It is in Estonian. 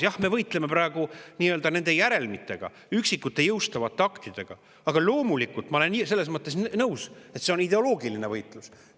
Jah, me võitleme praegu nende järelmitega, üksikute jõustuvate aktidega, aga loomulikult ma olen nõus, et see on ideoloogiline võitlus.